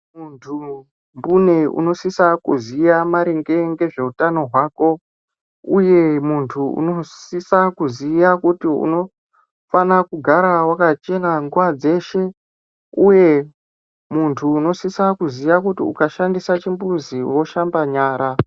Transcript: Muntu mbune unosisa kuziya maringe ngezveutano hwako, uye muntu unosisa kuziya kuti unofana kugara wakachena nguva dzeshe, uye muntu unosisa kuziya kuti ukashandisa chimbuzi woshamba nyara.